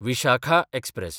Vishakha express